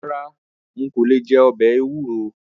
Rárá n kò lè jẹ ọbẹ̀ ewúro.